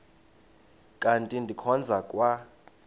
kanti ndikhonza kwa